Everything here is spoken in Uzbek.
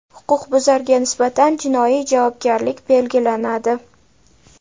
huquqbuzarga nisbatan jinoiy javobgarlik belgilanadi.